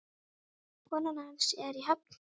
Konan hans er í Höfn.